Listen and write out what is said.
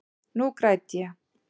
Nú græt ég.